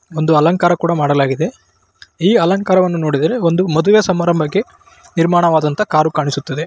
ಒಂದು ಅಲಂಕಾರ ಕೂಡ ಮಾಡಲಾಗಿದೆ ಈ ಅಲಂಕಾರವನ್ನು ನೋಡಿದರೆ ಒಂದು ಮದುವೆ ಸಮಾರಂಭಕ್ಕೆ ನಿರ್ಮಾಣವಾದಂತಹ ಕಾರು ಕಾಣಿಸುತ್ತದೆ.